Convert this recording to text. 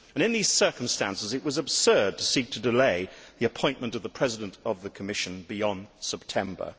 In these circumstances, it was absurd to seek to delay the appointment of the President of the Commission beyond September.